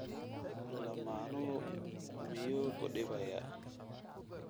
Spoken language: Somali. Lamaanahaagu miyuu ku dhibayaa?